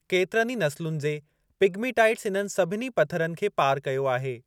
केतिरनि ई नसुलनि जे पीगमीटाइटस इन्हनि सभिनी पथरनि खे पार कयो आहे।